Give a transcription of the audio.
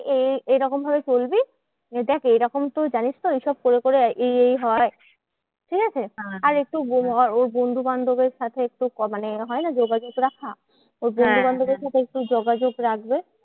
এই এই এরকম ভাবে চলবি। দেখ এরকম তো জানিস তো এইসব করে করে এই এই হয়। ঠিকাছে? আর একটু ওর বন্ধুবান্ধবের সাথে একটু মানে হয় না? যোগাযোগ রাখা। ওর বন্ধুবান্ধবের সাথে একটু যোগাযোগ রাখবে।